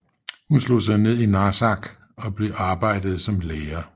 Hun slog sig ned i Narsaq og arbejdede som lærer